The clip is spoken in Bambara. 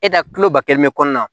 E da tuloba kelen bɛ kɔnɔna na